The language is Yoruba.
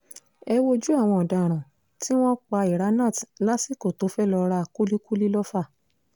ẹ wojú àwọn ọ̀daràn tí wọ́n pa iranat lásìkò tó fẹ́ẹ́ lọ́ọ ra kúlíkùlì lọ́fà